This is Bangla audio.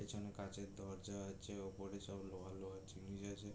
পেছনে কাঁচের দরজা আছে ওপরে সব লোহার লোহার জিনিস আছে।